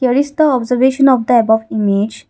here is the observation of the above image.